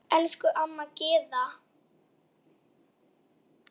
Elsku amma Gyða.